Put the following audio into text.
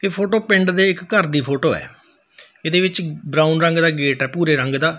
ਇਹ ਫੋਟੋ ਪਿੰਡ ਦੇ ਇੱਕ ਘਰ ਦੀ ਫੋਟੋ ਹੈ ਇਹਦੇ ਵਿੱਚ ਬਰਾਊਨ ਰੰਗ ਦਾ ਗੇਟ ਹੈ ਭੂਰੇ ਰੰਗ ਦਾ।